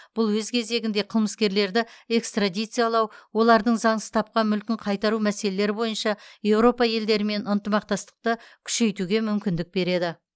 бұл өз кезегінде қылмыскерлерді экстрадициялау олардың заңсыз тапқан мүлкін қайтару мәселелері бойынша еуропа елдерімен ынтымақтастықты күшейтуге мүмкіндік береді